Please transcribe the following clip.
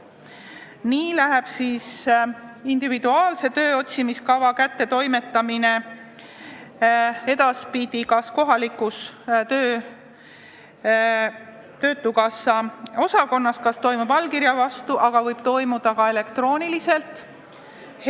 Nii võib individuaalse tööotsimiskava isikule edaspidi allkirja vastu kätte anda kohalikus töötukassa osakonnas, aga selle võib kätte toimetada ka elektrooniliselt.